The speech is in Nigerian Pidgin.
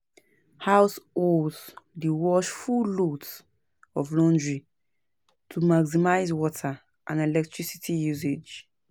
Households dey wash full loads of laundry to maximize water and electricity usage.